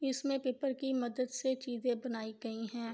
اس مے پیپر کی مدد سے چیزیں بنایی گی ہے